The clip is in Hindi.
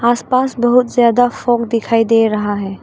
आस पास बहुत ज्यादा फोग दिखाई दे रहा है।